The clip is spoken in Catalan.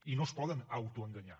i no es poden autoenganyar